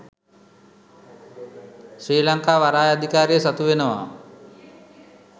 ශ්‍රී ලංකා වරාය අධිකාරිය සතු වෙනවා